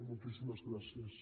moltíssimes gràcies